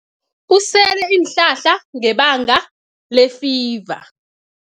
Usele iinhlahla ngebanga lefiva.